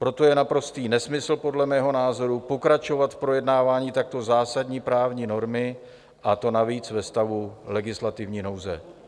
Proto je naprostý nesmysl podle mého názoru pokračovat v projednávání takto zásadní právní normy, a to navíc ve stavu legislativní nouze.